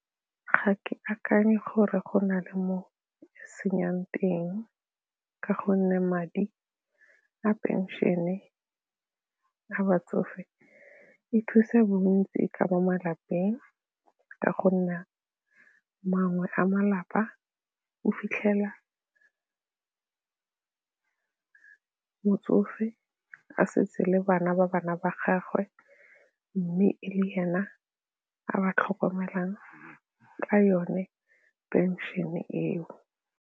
Ga ke akanye gore go na le mo senyang teng ka gonne madi a pension-e ya batsofe e thusa bontsi ka mo malapeng ka gonne mangwe a malapa o fitlhela motsofe a setse le bana ba bana ba gagwe mme e le ena a ba tlhokomelang ka yone pension-e eo.